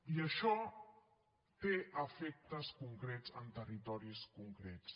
i això té efectes concrets en territoris concrets